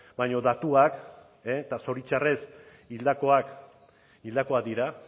baina datuak eta zoritxarrez hildakoak hildakoak dira